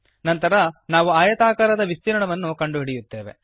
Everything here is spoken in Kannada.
ನಂತರ ನಾವು ಆಯತಾಕಾರದ ವಿಸ್ತೀರ್ಣವನ್ನು ಕಂಡುಹಿಡಿಯುತ್ತೇವೆ